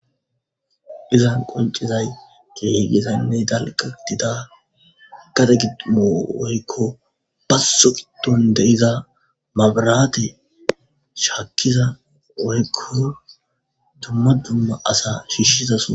Izan qoncizay giigizaynne dalqa dida kate gidimo woykko basoqiton deiza mabaraate shaakkiza woykko dumma dumma asa shiishizason.